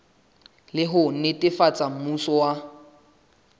le ho netefatsa mmuso wa